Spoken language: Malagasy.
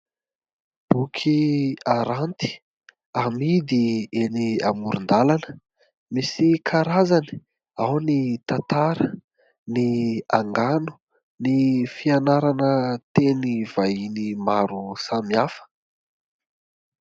Boky aranty amidy eny amoron-dalana. Misy karazany ao ny tantara, ny angano, ny fianarana teny vahiny maro samihafa.